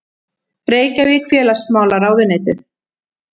Reykjavík: Félagsmálaráðuneytið.